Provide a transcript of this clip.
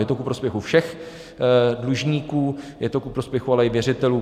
Je to ku prospěchu všech dlužníků, je to ku prospěchu ale i věřitelů.